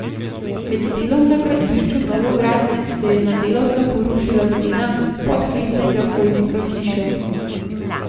Med delom na gradbišču novogradnje se je na delavca porušila stena podkletenega hodnika hiše.